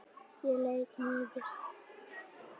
Ég leit niður.